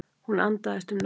Hún andaðist um nóttina.